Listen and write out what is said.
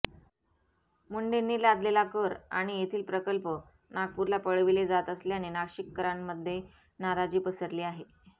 मुंढेंनी लादलेला कर आणि येथील प्रकल्प नागपूरला पळविले जात असल्याने नाशिककरांमध्ये नाराजी पसरली आहे